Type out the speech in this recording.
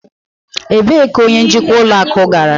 Ebee ka onye njikwa ụlọ akụ gara?